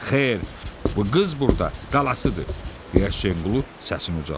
"Xeyr, bu qız burda qalasıdır," deyə Həsənqulu səsini ucaltdı.